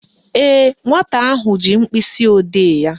Ee, nwata ahụ ji mkpịsịodee ya